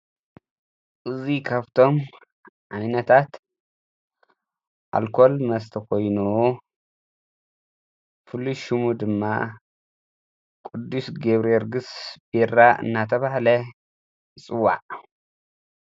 እዙይ ኻብቶም ኣኒነታት ኣልኰል መስተኾይኑ ፍሉሹሙ ድማ ቅዱስ ጌብሪርግሥ ቢራ እናተባሕለ ይጽዋዕ።